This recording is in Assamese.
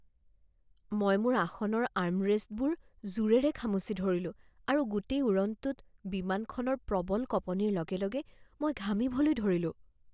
মই মোৰ আসনৰ আৰ্মৰেষ্টবোৰ জোৰেৰে খামুচি ধৰিলোঁ আৰু গোটেই উৰণটোত বিমানখনৰ প্ৰবল কঁপনিৰ লগে লগে মই ঘামিবলৈ ধৰিলোঁ